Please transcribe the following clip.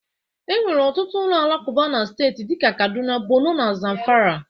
E nwere ọtụtụ ụlọ alakụba na steeti dị ka Kaduna, Borno na Zamfara